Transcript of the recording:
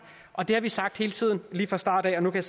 og det har vi sagt hele tiden lige fra starten af og nu kan